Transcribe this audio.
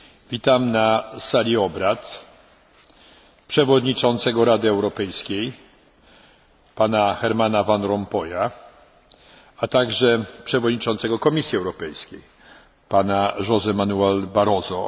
Witam na sali obrad przewodniczącego Rady Europejskiej, Pana Hermana Van Rompuya, a także przewodniczącego Komisji Europejskiej, Pana Joségo Manuela Barroso.